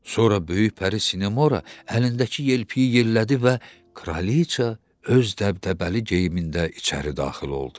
Sonra böyük pəri Sinamora əlindəki yelpəyi yellədi və Kraliçə öz dəbdəbəli geyimində içəri daxil oldu.